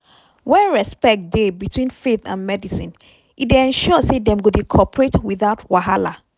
when respect dey between faith and medicine e dey ensure say dem go dey cooperate without wahala.